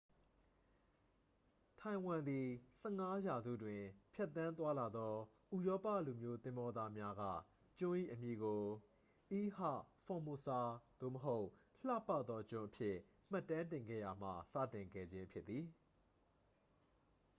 ထိုင်ဝမ်သည် 15 ရာစုတွင် ဖြတ်သန်းသွားလာသောဥရောပလူမျိုးသင်္ဘောသားများက ကျွန်း၏အမည်ကို ilha formosa သို့မဟုတ် လှပသောကျွန်းအဖြစ် မှတ်တမ်းတင်ခဲ့ရာမှ စတင်ခဲ့ခြင်းဖြစ်သည်